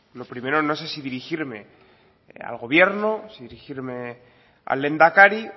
lo primero no sé si dirigirme al gobierno si dirigirme al lehendakari